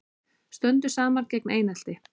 Stöndum saman gegn einelti